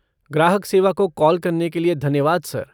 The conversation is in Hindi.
ग्राहक सेवा को कॉल करने के लिए धन्यवाद सर।